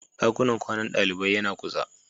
Dakunan kwanan dalibai yana kusa.